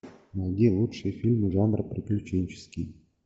найди лучшие фильмы жанра приключенческий